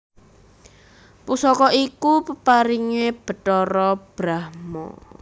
Pusaka iku peparingé Bathara Brahma